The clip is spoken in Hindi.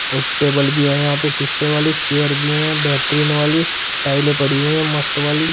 और टेबल भी है यहां पे शीशे वाली चेयर भी हैं बेहतरीन वाली टाइलें पड़ी हुई हैं मस्त वाली।